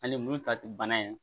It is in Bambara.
Hali minnu ta tɛ bana ye